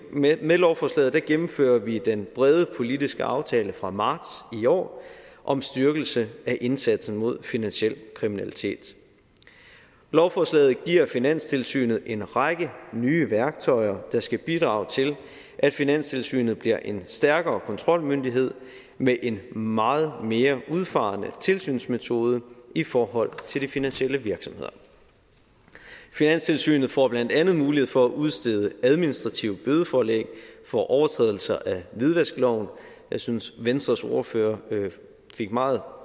med lovforslaget gennemfører vi den brede politiske aftale fra marts i år om styrkelse af indsatsen mod finansiel kriminalitet lovforslaget giver finanstilsynet en række nye værktøjer der skal bidrage til at finanstilsynet bliver en stærkere kontrolmyndighed med en meget mere udfarende tilsynsmetode i forhold til de finansielle virksomheder finanstilsynet får blandt andet mulighed for at udstede administrative bødeforlæg for overtrædelser af hvidvaskloven jeg synes at venstres ordfører meget